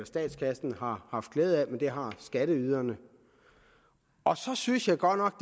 statskassen har haft glæde af men det har skatteyderne så synes jeg godt nok